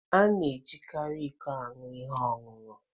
A na-ejikarị iko aṅụ ihe ọṅụṅụ.